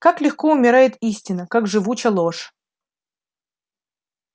как легко умирает истина как живуча ложь